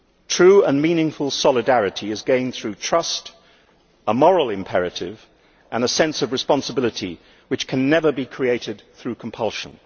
True and meaningful solidarity is gained through trust, a moral imperative and a sense of responsibility which can never be created through compulsion.